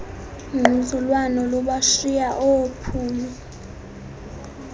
ngquzulwano lubashiya oophumi